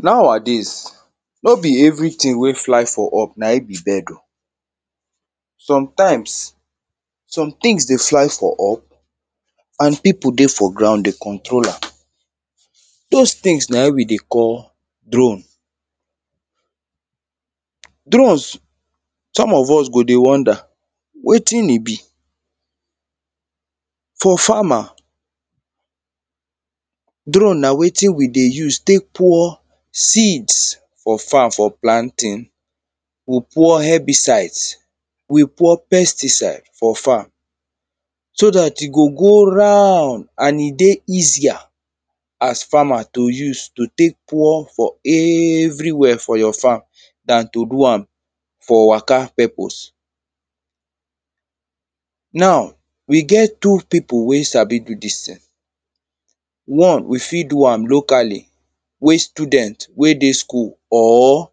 Nowadays, no be everything wey fly for up na im be bird o. Sometimes, somethings dey fly for up and people dey for ground dey control am. Those things na we dey call drone Drones, some of us go dey wonder wetin e be? For farmer, drone na wetin we dey use tek pour seeds for farm for planting. We pour herbicides, we pour pesticide for farm. So dat e go go round and e dey easier as farmer to use to tek pour for everywhere for your farm than to do am for waka purpose. Now, we get two people wey sabi do dis thing. One, we fit do am locally, wey student wey dey school, or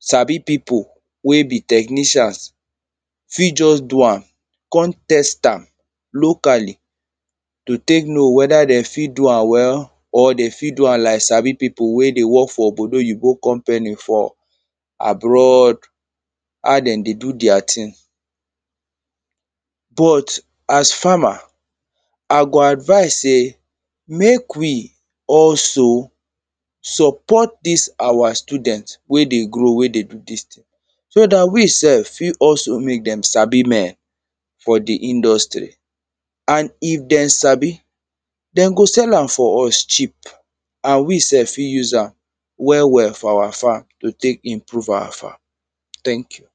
sabi people wey be technicials fit just do am, come test am locally. To tek know whether them fit do am well or them fit do am lak sabi people wey dey work for obodo-yinbo company for abroad. how them dey do their thing But, as farmer. I go advise say mek we also support dis our student wey dey grow, wey dey do dis thing. So dat we sef fit also mek them sabi more for the industry. And if them sabi, them go sell am for us cheap. And we sef fit use am well, well for our farm to tek improve our farm. Thank you!